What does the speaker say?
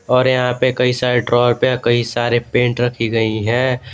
और यहां पे कई सरे त्रावर पे कई सारे पेंट रखी गई है।